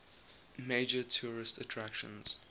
major tourist attractions